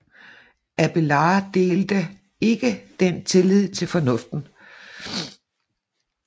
Abélard delte ikke den tillid til fornuften